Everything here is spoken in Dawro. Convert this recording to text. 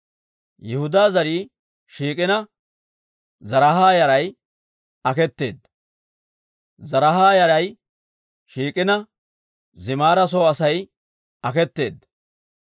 Yihudaa zarii shiik'ina, Zaraaha yaray aketeedda; Zaraaha yaray shiik'ina, Zimira soo Asay aketeedda.